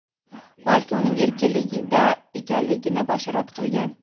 balki uning erkinligida ekanligini bashorat qilgan.